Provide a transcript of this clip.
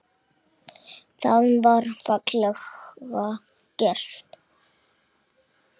Það var fallega gert.